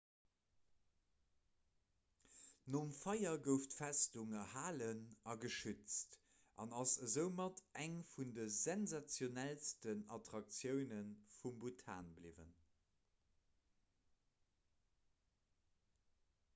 nom feier gouf d'festung erhalen a geschützt an ass esoumat eng vun de sensationellsten attraktioune vu bhutan bliwwen